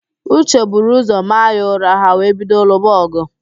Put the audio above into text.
Uche buru ụzọ maa ya ụra, ha wee bido lụba ọgụ